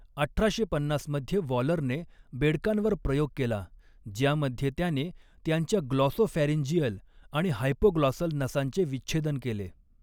अठराशे पन्नास मध्ये वॉलरने बेडकांवर प्रयोग केला ज्यामध्ये त्याने त्यांच्या ग्लॉसोफॅरिंजियल आणि हायपोग्लॉसल नसांचे विच्छेदन केले.